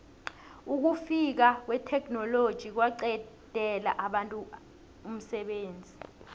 ukufika kwetheknoloji kwaqedela abantu umsebenzi